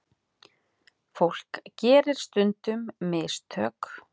Fólk gerir stundum mistök.